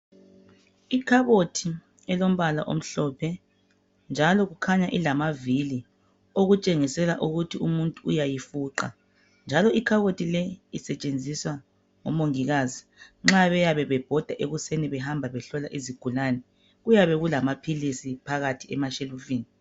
Ikhabothi elombala omhlophe, njalo kukhanya ilamavili okutshengisela ukuthi umuntu uyayifuqa. Njalo ikhabothi le isetshenziswa ngomongikazi nxa beyabe bebhoda ekuseni behamba behlola izigulane. Kuyabe kulamaphilisi phakathi emashelufini.